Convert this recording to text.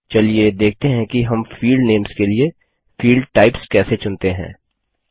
चलिए देखते हैं कि हम फील्ड नेम्स के लिए फील्ड टाइप्स कैसे चुनते हैं